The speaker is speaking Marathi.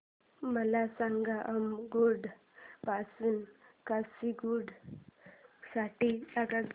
मला सांगा अम्मुगुडा पासून काचीगुडा साठी आगगाडी